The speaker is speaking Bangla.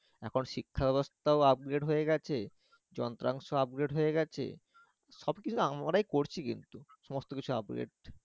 আবার শিক্ষাব্যবস্থা ও upgrade হয়ে গেছে যন্ত্রাংশ upgrade হয়ে গেছে, সবকিছু আমরাই করছি কিন্তু সবকিছু upgrade